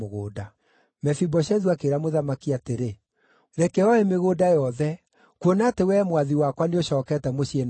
Mefiboshethu akĩĩra mũthamaki atĩrĩ, “Reke oe mĩgũnda yothe, kuona atĩ wee mwathi wakwa nĩũcookete mũciĩ na thayũ.”